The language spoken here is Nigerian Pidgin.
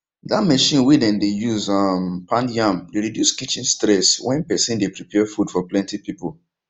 that mechine wey dem dey use um pound yam dey reduce kitchen stress when person dey prepare food for plenty people